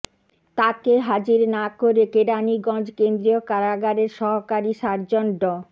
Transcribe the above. তাকে হাজির না করে কেরানীগঞ্জ কেন্দ্রীয় কারাগারের সহকারী সার্জন ড